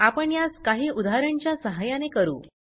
आपण यास काही उदाहरण च्या सहाय्याने करू